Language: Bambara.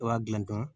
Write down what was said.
I b'a dilan dɔrɔn